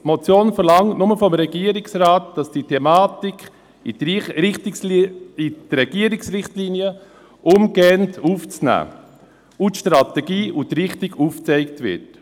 Sie verlangt nur vom Regierungsrat, dass diese Thematik umgehend in die Regierungsrichtlinien aufgenommen wird und die Strategie und die Richtung aufgezeigt werden.